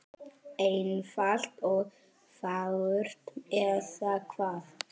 Einfalt og fagurt, eða hvað?